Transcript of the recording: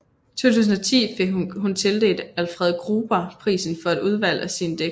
I 2010 fik hun tildelt Alfred Gruber Prisen for et udvalg af sine digte